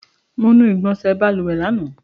Mo nu igbọnsẹ̀ balùwẹ̀ lánàá.